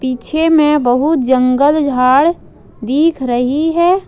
पीछे में बहुत जंगल झाड़ दिख रही है।